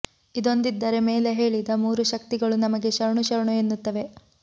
ಇದೊಂದಿದ್ದರೆ ಮೇಲೆ ಹೇಳಿದ ಮೂರೂ ಶಕ್ತಿಗಳೂ ನಮಗೆ ಶರಣು ಶರಣು ಎನ್ನುತ್ತವೆ